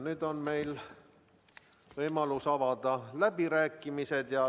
Nüüd on meil võimalus avada läbirääkimised.